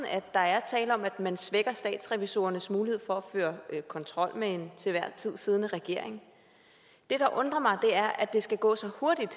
at der er tale om at man svækker statsrevisorernes mulighed for at føre kontrol med den til enhver tid siddende regering det der undrer mig er at det skal gå så hurtigt